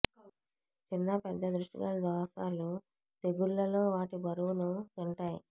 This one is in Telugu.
చిన్న పెద్ద దృష్టిగల దోషాలు తెగుళ్ళలో వాటి బరువును తింటాయి